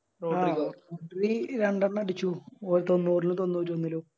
രണ്ടെണ്ണം അടിച്ചു തൊണ്ണൂറ്റൊന്നിലും